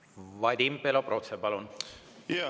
Vadim Belobrovtsev, palun!